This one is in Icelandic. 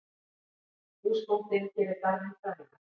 Húsbóndinn gerir garðinn frægan.